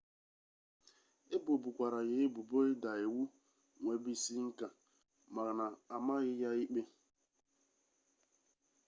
ebobukwara ya ebubo ịda iwu nwebisiinka mana amaghị ya ikpe